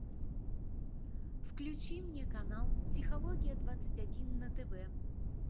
включи мне канал психология двадцать один на тв